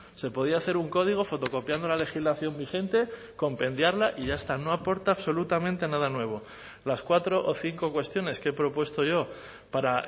se podía hacer un código fotocopiando la legislación vigente compendiarla y ya está no aporta absolutamente nada nuevo las cuatro o cinco cuestiones que he propuesto yo para